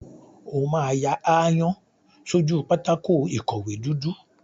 O máa ya aáyán sójú pátákó ìkọ̀wé dúdú.